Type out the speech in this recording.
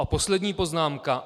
A poslední poznámka.